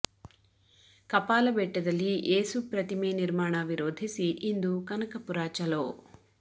ಕಪಾಲ ಬೆಟ್ಟದಲ್ಲಿ ಏಸು ಪ್ರತಿಮೆ ನಿರ್ಮಾಣ ವಿರೋಧಿಸಿ ಇಂದು ಕನಕಪುರ ಚಲೋ